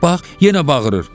Bax, bax, yenə bağırır.